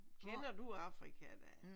Kender du Afrika da?